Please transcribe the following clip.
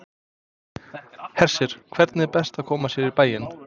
Hersir, hvernig er best að koma sér í bæinn?